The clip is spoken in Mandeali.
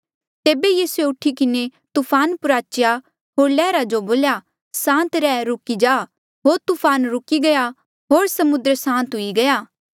तेबे यीसूए उठी किन्हें तूफान प्रुआचेया होर लैहरा जो बोल्या सांत रह रुकी जा होर तूफान रुकी गया होर समुद्र सांत हुई गया